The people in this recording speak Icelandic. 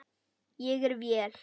Ég er vél.